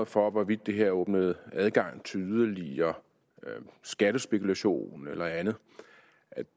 for hvorvidt det her åbner adgang til yderligere skattespekulation eller andet